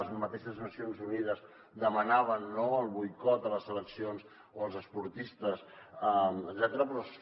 les mateixes nacions unides demanaven el boicot a les eleccions o als esportistes etcètera